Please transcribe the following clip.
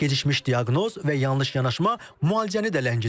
Gecikmiş diaqnoz və yanlış yanaşma müalicəni də ləngidir.